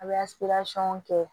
A bɛ kɛ